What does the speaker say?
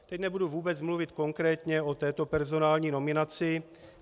Teď nebudu vůbec mluvit konkrétně o této personální nominaci.